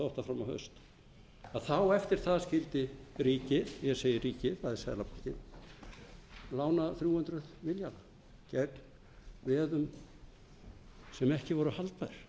og átta fram á haust að þá eftir það skyldi ríkið ég segi ríkið það er seðlabankinn lána þrjú hundruð milljarða gegn veðum sem ekki voru haldbær